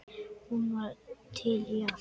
Hún var til í allt.